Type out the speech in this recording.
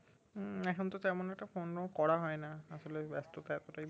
উম এখন তো তেমন একটা phone ও করা হয় না আসলে ব্যাস্ততা এতটাই বেরে